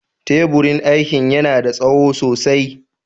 Teburin aiki yana da tsawo sosai.